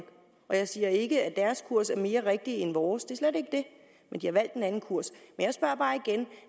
og jeg siger ikke at deres kurs er mere rigtig end vores det er slet ikke det men de har valgt en anden kurs